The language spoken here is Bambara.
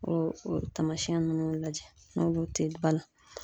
O o tamasiyɛn ninnu lajɛ n'olu te ba la?]